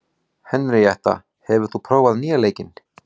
Henríetta, hefur þú prófað nýja leikinn?